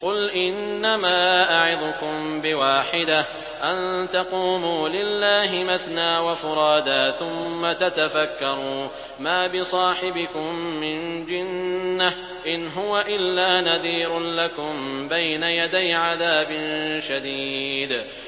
۞ قُلْ إِنَّمَا أَعِظُكُم بِوَاحِدَةٍ ۖ أَن تَقُومُوا لِلَّهِ مَثْنَىٰ وَفُرَادَىٰ ثُمَّ تَتَفَكَّرُوا ۚ مَا بِصَاحِبِكُم مِّن جِنَّةٍ ۚ إِنْ هُوَ إِلَّا نَذِيرٌ لَّكُم بَيْنَ يَدَيْ عَذَابٍ شَدِيدٍ